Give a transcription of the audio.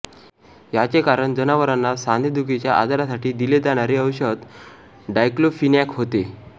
याचे कारण जनावरांना सांधेदुखीच्या आजारासाठी दिले जाणारे औषध डायक्लोफिनॅक होते